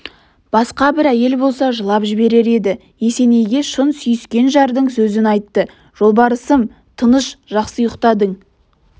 басқа бір әйел болса жылап жіберер еді есенейге шын сүйіскен жардың сөзін айттыжолбарысым тыныш жақсы ұйықтадың